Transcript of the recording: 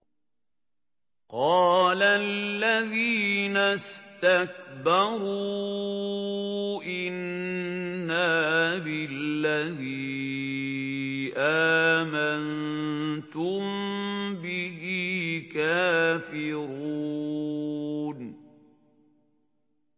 قَالَ الَّذِينَ اسْتَكْبَرُوا إِنَّا بِالَّذِي آمَنتُم بِهِ كَافِرُونَ